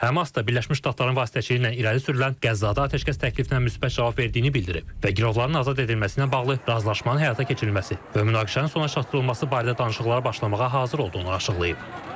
Həmas da Birləşmiş Ştatların vasitəçiliyi ilə irəli sürülən Qəzzada atəşkəs təklifinə müsbət cavab verdiyini bildirib və girovların azad edilməsinə bağlı razılaşmanın həyata keçirilməsi və münaqişənin sona çatdırılması barədə danışıqlara başlamağa hazır olduğunu açıqlayıb.